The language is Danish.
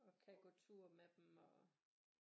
Og kan gå tur med dem og